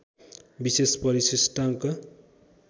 विशेष परिशिष्टांक